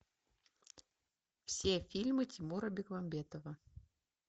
все фильмы тимура бекмамбетова